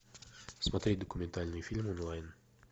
смотреть документальный фильм онлайн